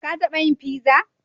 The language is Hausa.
Ka taba yin fiza?